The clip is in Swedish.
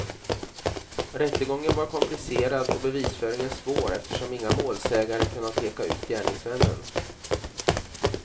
Rättegången var komplicerad och bevisföringen svår eftersom inga målsägare kunnat peka ut gärningsmännen.